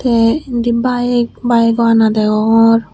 tay indi bike bike o ana degongor.